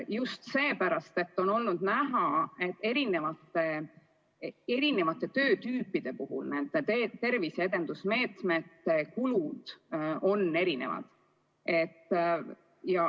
Just seepärast, et on olnud näha, et erinevate töö tüüpide puhul on terviseedenduse meetmete kulud erinevad.